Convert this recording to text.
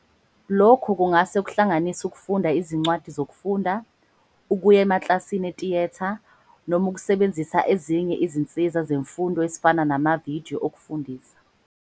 Lokhu kungase kuhlanganise ukufunda izincwadi zokufunda, ukuya emakilasini etiyetha, noma ukusebenzisa ezinye izinsiza zemfundo ezifana namavidiyo okufundisa.